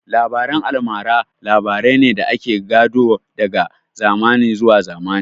Labaren almara labarai ne da ake gado daga zamani zuwa zamani